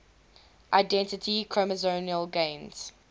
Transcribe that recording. identify chromosomal gains